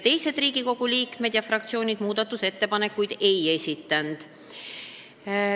Teised Riigikogu liikmed ega fraktsioonid muudatusettepanekuid ei esitanud.